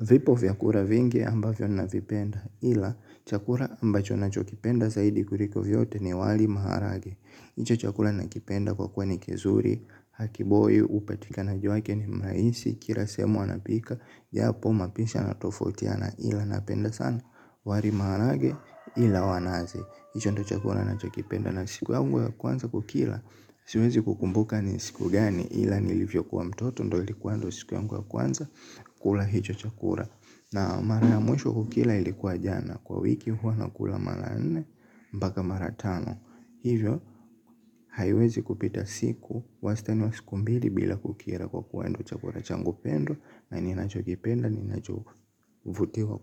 Vipo vyakula vingi ambavyo navipenda ila chakula ambacho nachokipenda zaidi kuliko vyote ni wali maharage. Hicho chakula nakipenda kwa kuwa ni kizuri, hakiboyu, hupatika na juu yake ni mrahisi, kila sehemu wanapika. Japo mapishi yanatofautiana ila napenda sana, wali maharage ile wa nazi. Hicho ndo chakula nachokipenda na siku yangu ya kwanza kukila, siwezi kukumbuka ni siku gani ila nilivyokuwa mtoto ndo ilikuwa ndo siku yangu ya kwanza. Kula hicho chakula. Na mara ya mwisho kukila ilikuwa jana. Kwa wiki huwa nakula mara nne mpaka mara tano. Hivyo haiwezi kupita siku, wastani wa siku mbili bila kukila. Kwa kuwa ndo chakula changu pendwa na ninachokipenda ninachovutiwa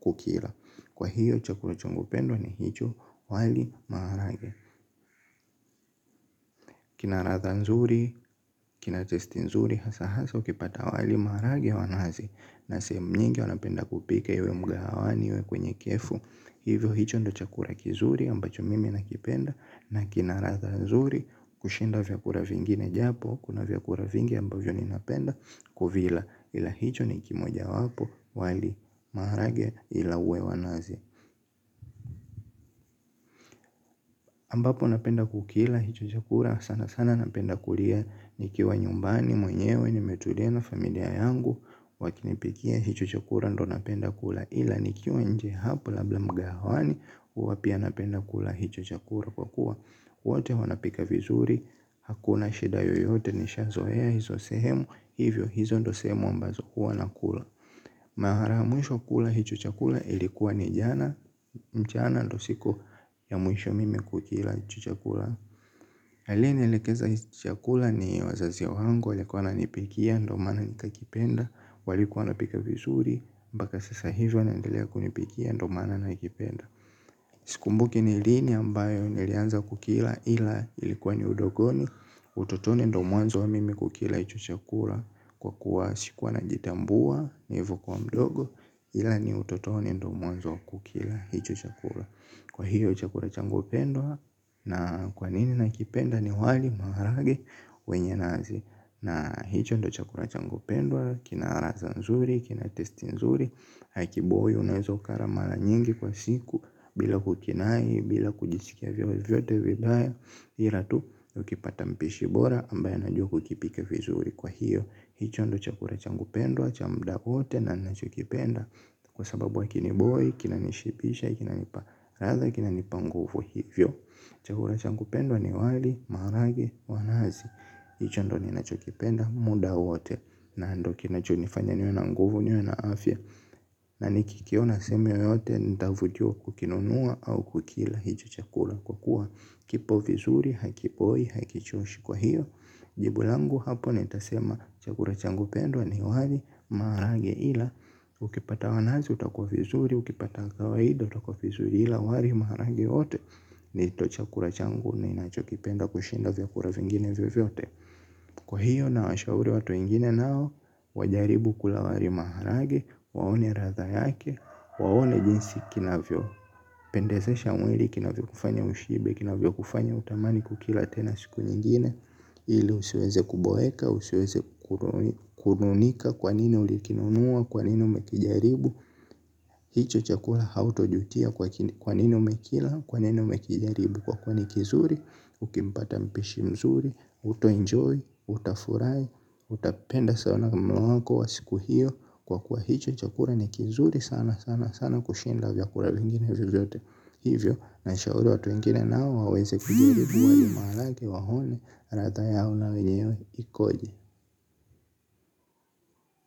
kukila kwa hiyo chakula changu pendwa ni hicho, wali marage. Kina ladha nzuri. Kina testi nzuri hasaa haswa ukipata wali marage wa nazi. Na sehemu nyingi wanapenda kupika iwe mgawani iwe kwenye kefu. Hivyo hicho ndo chakula kizuri ambacho mimi nakipenda. Na kina ladha nzuri kushinda vyakula vingi ne. Japo kuna vyakula vingi ambavyo ninapenda kuvila ila hicho ni kimoja wapo wali marage ila uwe wa nazi ambapo napenda kukila hicho chakula sana sana napenda kulia. Nikiwa nyumbani mwenyewe nimetulia na familia yangu. Wakinipikia hicho chakula ndo napenda kula. Ila nikiwa nje hapo labda mgahawani huwa pia napenda kula hicho chakula kwa kuwa wote wanapika vizuri hakuna shida yoyote nishazoea hizo sehemu hivyo hizo ndo sehemu ambazo huwa nakula mara ya mwisho kula hicho chakula ilikuwa ni jana mchana ndo siku ya mwisho mimi kukila hicho chakula aliyenielekeza hicho chakula ni wazazi wangu walikuwa wananipikia ndo maana nikakipenda. Walikuwa wanapika vizuri mpaka sasa hivi wanaendelea kunipikia ndo maana nakipenda. Sikumbuki ni lini ambayo nilianza kukila ila ilikuwa ni udogoni. Utotoni ndo mwanzo wa mimi kukila hicho chakula. Kwa kuwa sikuwa najitambua nilivyokuwa mdogo. Ila ni utotoni ndo mwanzo wa kukila hicho chakula. Kwa hiyo chakula changu pendwa. Na kwa nini nakipenda ni wali maharage wenye nazi. Na hicho ndo chakula changu pendwa. Kina ladha nzuri, kina testi nzuri. Haikiboye unaeza kala mara nyingi kwa siku bila kukinai, bila kujishikia vyovyote vidaya hila tu, ukipata mpishi bora ambaye anajua kukipika vizuri. Kwa hiyo, hicho ndo chakula changu pendwa, cha mda wote na nacho kipenda. Kwa sababu hakiniboye, kinanishibisha, kina nipa ladha, kinanipa nguvu hivyo. Chakula changu pendwa ni wali, maharagi, wanazi. Hicho ndo ninachokipenda, muda wote na ndo kinachonifanya niwe na nguvu niwe na afya. Na nikikiona sehemu yoyote nitavyojua kukinunua au kukila hicho chakula. Kwa kuwa kipo vizuri hakipoi hakichoshi kwa hiyo. Jibu langu hapo nitasema chakula changu pendwa ni wali maharagile ila ukipata wanazi utakuwa vizuri ukipata kawaida utakuwa vizuri ila wali maharage yote. Nito chakula changu ninacho kipenda kushinda vyakula vingine vyote. Kwa hiyo nawashauri watu wengine nao, wajaribu kula wali maharage, waone ladha yake, waone jinsi kinavyo pendezesha mwili kinavyo kufanya ushibe, kinavyo kufanya utamani kukila tena siku nyingine, ili usiweze kuboeka, usiweze kununika kwa nini ulikinunua, kwa nini umekijaribu. Hicho chakua hautojutia kwa kwa nini umekila, kwa nini umekijaribu kwa kuwa ni kizuri, ukimpata mpishi mzuri, utaenjoy, utafurahi, utapenda sana mwako wa siku hiyo kwa kwa hicho chakula ni kizuri sana sana sana kushinda vyakula vingine vyovyote. Hivyo nashauri watu wengine nao waweze kujaribu wali maarage waone ladha yao na wenyewe ikoji.